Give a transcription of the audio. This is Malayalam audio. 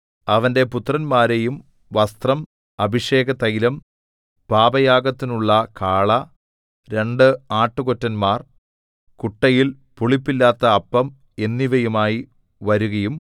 അവന്റെ പുത്രന്മാരെയും വസ്ത്രം അഭിഷേകതൈലം പാപയാഗത്തിനുള്ള കാള രണ്ട് ആട്ടുകൊറ്റന്മാർ കുട്ടയിൽ പുളിപ്പില്ലാത്ത അപ്പം എന്നിവയുമായി വരുകയും